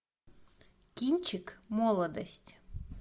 кинчик молодость